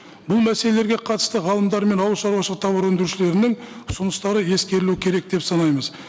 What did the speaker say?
бұл мәселелерге қатысты ғалымдар мен ауылшаруашылық тауар өндірушілерінің ұсыныстары ескерілу керек деп санаймыз